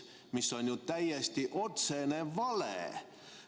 See on ju täiesti otsene vale!